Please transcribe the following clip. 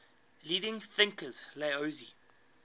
leading thinkers laozi